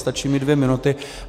Stačí mi dvě minuty.